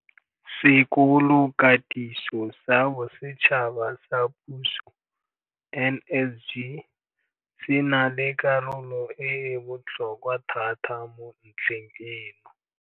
Sekolokatiso sa Bosetšhaba sa Puso, NSG, se na le karolo e e botlhokwa thata mo ntlheng eno.